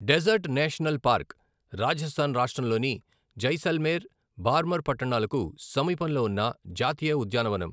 Dessert national park Rajasthan రాష్ట్రంలోని జైసల్మేర్, బార్మర్ పట్టణాలకు సమీపంలో ఉన్న జాతీయ ఉద్యానవనం.